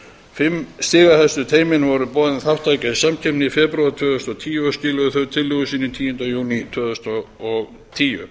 fimm stigahæstu teymunum var boðin þátttaka í samkeppninni í febrúar tvö þúsund og tíu og skiluðu þau tillögum sínum tíunda júní tvö þúsund og tíu